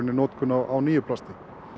notkun á nýju plasti